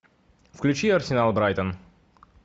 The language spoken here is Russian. включи арсенал брайтон